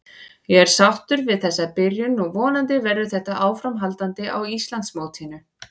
Ég er sáttur við þessa byrjun og vonandi verður þetta áframhaldandi á Íslandsmótinu.